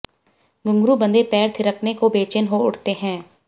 घुंघरू बंधे पैर थिरकने को बेचैन हो उठते हैं